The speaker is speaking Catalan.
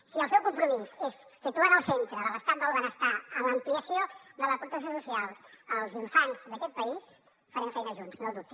si el seu compromís és situar en el centre de l’estat del benestar l’ampliació de la protecció social als infants d’aquest país farem feina junts no ho dubti